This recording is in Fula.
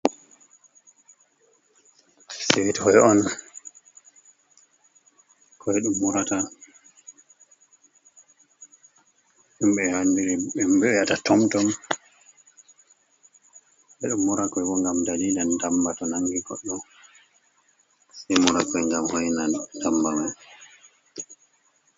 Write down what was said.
Sweet on andiri nga ɓe wiata tomtom ɓeɗon mura koi bo ngam dalila ndamba to nangi koe mura koi ngam hoinan ndamba man.